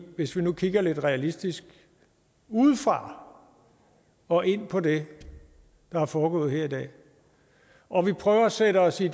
hvis vi nu kigger lidt realistisk udefra og ind på det der er foregået her i dag og vi prøver at sætte os i